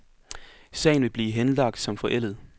Sagen vil blive henlagt som forældet.